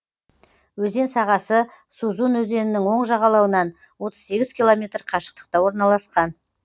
өзен сағасы сузун өзенінің оң жағалауынан отыз сегіз километр қашықтықта орналасқан